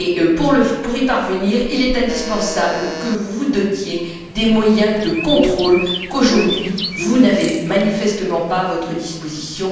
Pour y parvenir, il est indispensable que vous vous dotiez des moyens de contrôle qu'aujourd'hui, vous n'avez manifestement pas à votre disposition.